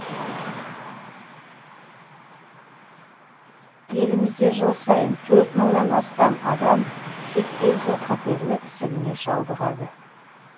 елімізде жыл сайын төрт мыңнан астам адам сүт безі қатерлі ісігіне шалдығады